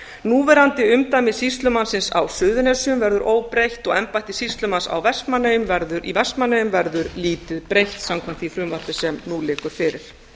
núverandi umdæmi sýslumannsins á suðurnesjum verður óbreytt og embætti sýslumanns í vestmannaeyjum verður lítið breytt samkvæmt því frumvarpi sem nú liggur fyrir